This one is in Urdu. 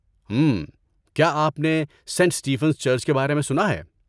ہمم.. کیا آپ نے سینٹ اسٹیفنز چرچ کے بارے میں سنا ہے؟